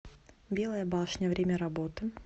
белая башня время работы